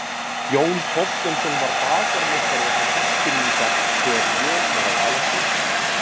Jón Þorsteinsson var bakarameistari okkar Eskfirðinga þegar ég var að alast upp.